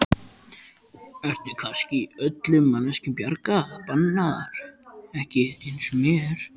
Eru kannski öllum manneskjum bjargir bannaðar, ekki aðeins mér?